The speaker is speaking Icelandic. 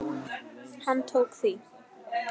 Hann tók því.